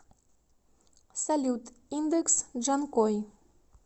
салют индекс джанкой